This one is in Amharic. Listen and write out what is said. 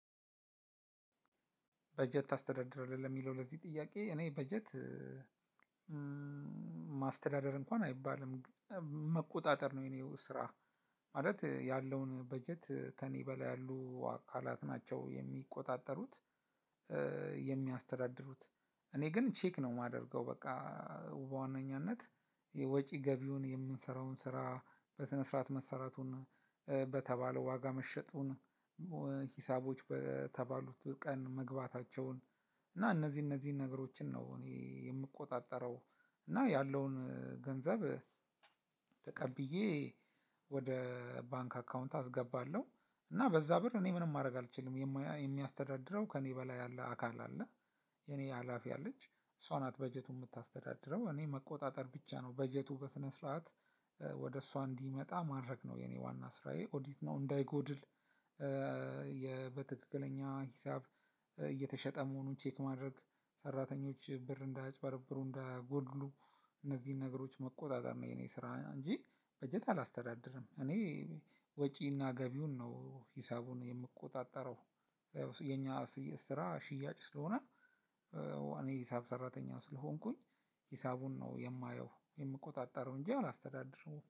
በጀት ታስተዳድራለህ ለሚለው ለዚህ ጥያቄ እኔ በጀት ማስተዳደር እንኳን አይባልም መቆጣጠር ነው የኔው ስራ። ማለት ያለውን በጀት ተኔ በላይ ያሉ አካላት ናቸው የሚቆጣጠሩት የሚያስተዳድሩት። እኔ ግን ቼክ ነው የማደርገው። በቃ በዋነኛነት የወጪ ገቢውን የምንሰራውን ስራ በስነ ስርዓት መሰራቱን በተባለው ዋጋ መሸጡን በተባሉት ቀን መግባታቸውን እና እነዚህ እነዚህ ነገሮችን ነው እኔ የሚቆጣጠረው። እና ያለውን ገንዘብ ተቀብዬ ወደ ባንክ አካውንት አስገባለሁ። እና በዛ ብር እኔ ምንም ማድረግ አልችልም የሚያስተዳድረው ከእኔ በላይ ያለ አካል አለ። የኔ ሀላፊ አለች እሷ ናት በጀቱን የምታስተዳድረው። እኔ መቆጣጠር ብቻ ነው በጀቱ በስነ ስርዓት ወደ እሷ እንዲመጣ ማድረግ ነው የኔ ዋና ስራዬ ኦዲት ነው። እንዳይጎድል። በትክክለኛ ሂሳብ እየተሸጠ መሆኑን ቼክ ማድረግ ሰራተኞች ብር እንዳያጭበረብሩ እንዳያጎድሉ እነዚህን ነገሮች መቆጣጠር ነው። የኔ ስራ እንጂ በጀት አላስተዳድርም እኔ። ወጪና ገቢውን ነው ሂሳቡን የምቆጣጠረው። የኛ ስራ ሽያጭ ስለሆነ። እኔ ሂሳብ ሰራተኛው ስለሆንኩኝ ሂሳቡን ነው የማየው የምቆጣጠረው እንጂ አላስተዳድረውም